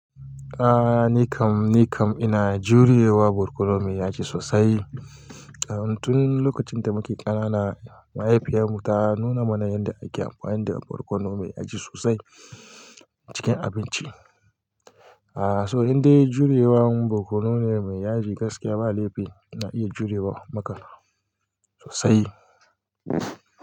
Ah nikam nikam ina jure wa barkono mai yaji sosai. Tun lokacin da muke ƙanana mahaifiyar mu ta nuna mana yadda ake amfani da barkono mai yaji sosai cikin abinci. A so indai juriye wa barkono ne mai yaji gaskiya ba laifi na iya jure wa maka sosai.